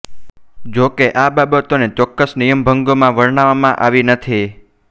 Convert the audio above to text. જોકે આ બાબતોને ચોક્કસ નિયમભંગોમાં વર્ણવવામાં આવી નથી